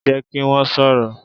Jẹ ki wọn sọrọ!